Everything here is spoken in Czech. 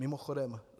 Mimochodem -